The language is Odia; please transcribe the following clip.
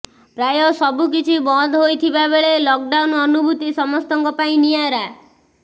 ପ୍ରାୟ ସବୁ କିଛି ବନ୍ଦ ହୋଇଥିବାବେଳେ ଲକ୍ଡାଉନ୍ର ଅନୁଭୁତି ସମସ୍ତଙ୍କ ପାଇଁ ନିଆରା